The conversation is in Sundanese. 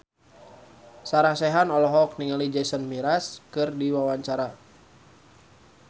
Sarah Sechan olohok ningali Jason Mraz keur diwawancara